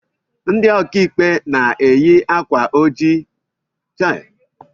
Ndị ọkàikpe na-eyi akwa ọcha na ojii